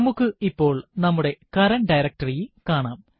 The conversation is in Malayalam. നമുക്ക് ഇപ്പോൾ നമ്മുടെ കറന്റ് ഡയറക്ടറി കാണാം